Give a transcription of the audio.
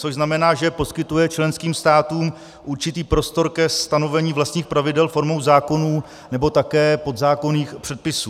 Což znamená, že poskytuje členským státům určitý prostor ke stanovení vlastních pravidel formou zákonů nebo také podzákonných předpisů.